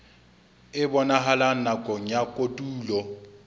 e bonahalang nakong ya kotulo